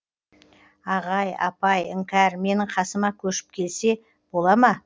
ағай апай іңкәр менің қасыма көшіп келсе бола ма